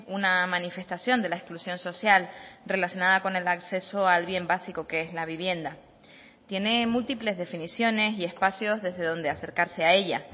una manifestación de la exclusión social relacionada con el acceso al bien básico que es la vivienda tiene múltiples definiciones y espacios desde donde acercarse a ella